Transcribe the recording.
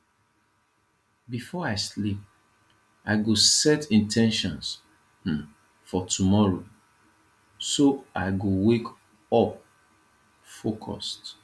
before i sleep i go set in ten tions um for tomorrow so i go wake up focused